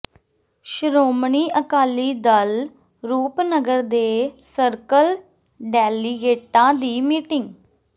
ਸ਼੍ਰੋਮਣੀ ਅਕਾਲੀ ਦਲ ਰੂਪਨਗਰ ਦੇ ਸਰਕਲ ਡੈਲੀਗੇਟਾਂ ਦੀ ਮੀਟਿੰਗ